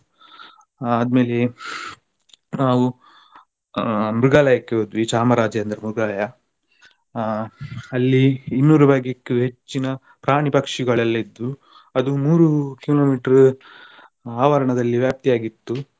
ಆದ್ಮೇಲೆ ನಾವು ಆಹ್ ಮೃಗಾಲಯಕ್ಕೆ ಹೋದ್ವಿ ಚಾಮರಾಜೇಂದ್ರ ಮೃಗಾಲಯ ಆಹ್ ಅಲ್ಲಿ ಇನ್ನೂರು ಬಗ್ಗೆಕ್ಕೂ ಹೆಚ್ಚಿನ ಪ್ರಾಣಿ ಪಕ್ಷಿಗಳೆಲ್ಲ ಇದ್ವು ಅದು ಮೂರು kilometer ಆವರಣದಲ್ಲಿ ವ್ಯಾಪ್ತಿಯಾಗಿ ಇತ್ತು.